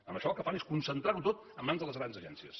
amb això el que fan és concentrar ho tot a mans de les grans agències